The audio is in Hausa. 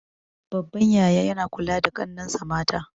Babban yaya yana kula da ƙannensa mata